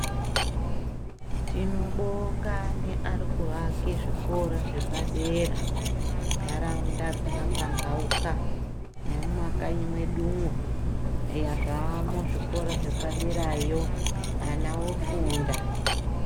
Tinobonga neari kuake zvikora zvepadera mundaraunda dzakapambauka nemumakanyi mwedumwo eya zvamo zvikora zvepaderayo ana ofunda .